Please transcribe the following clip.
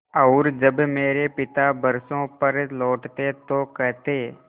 और जब मेरे पिता बरसों पर लौटते तो कहते